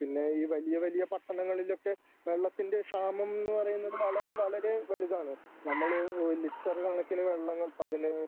പിന്നെ ഈ വലിയ വലിയ പട്ടണങ്ങളിലൊക്കെ വെള്ളത്തിൻ്റെ ക്ഷാമം എന്ന് പറയുന്ന വളരെ വളരെ വലുതാണ് നമ്മള് ലിറ്റർ കണക്കിന് വെള്ളങ്ങൾ പതിന്